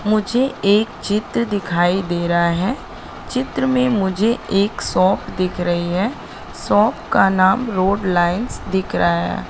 मुझे एक चित्र दिखाई दे रहा है चित्र में मुझे एक शॉप दिख रही है शॉप का नाम रोड लाइंस दिख रहा हैं।